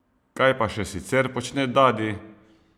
Kaj pa še sicer počne Dadi?